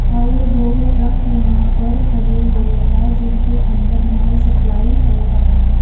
और दो ट्रक यहां पर खड़े हुए हैं जिनके अंदर माल सप्लाई हो रहा है।